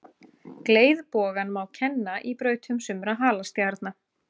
Gleiðbogann má kenna í brautum sumra halastjarna.